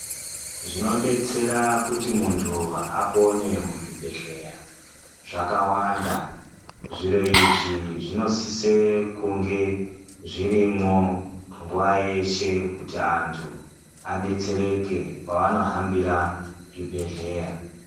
Zvinodetsera kuti munthu apone muzvibhehleya zvakawanda, zviro izvi zvinosise kunge zvirimwo nguwa yeshe kuti anthu adetsereke pavanohambira zvibhehleya.